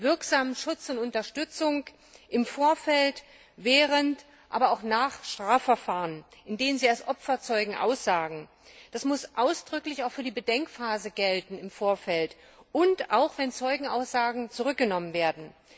wirksamen Schutz und Unterstützung vor, während, aber auch nach Strafverfahren, in denen sie als Zeugen aussagen. Das muss ausdrücklich auch für die Bedenkphase im Vorfeld gelten und auch, wenn Zeugenaussagen zurückgenommen werden.